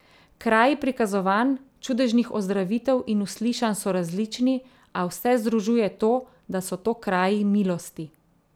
Kraji prikazovanj, čudežnih ozdravitev in uslišanj so različni, a vse združuje to, da so to kraji milosti.